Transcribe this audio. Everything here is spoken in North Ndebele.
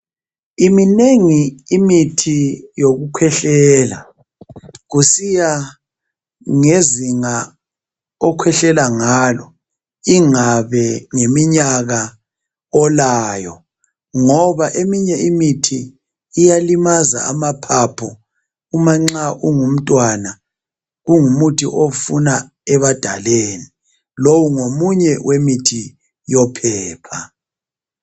Iminengi imithi yokukhwehlela kusiyangezinga okhwehlela ngalo ingabe ngeminyaka olayo ngoba eminye imithi iyalimaza amaphaphu uma ungumntwana kungumuthi ofuna ebadaleni. Lo ngomunye wemithi yophepha.